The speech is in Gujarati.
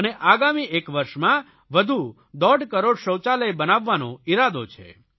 અને આગામી એક વરસમાં વધુ દોઢ કરોડ શૌચાલય બનાવવાનો ઇરાદો છે